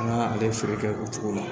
An ka ale feere kɛ o cogo la